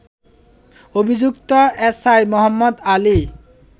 অভিযুক্ত এসআই মোহাম্মদ আলী